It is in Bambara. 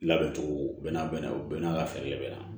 Labɛn cogo bɛɛ n'a bɛɛ na o bɛɛ n'a ka fɛɛrɛ de bɛ na